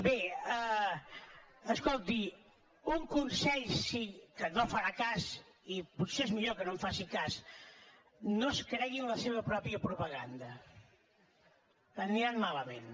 bé escolti un consell sí que no en farà cas i potser és millor que no en faci cas no es creguin la seva pròpia propaganda aniran malament